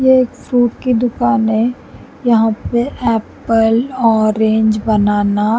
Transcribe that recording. ये एक फ्रूट की दुकान है यहाँ पे एप्पल ऑरेंज बनाना --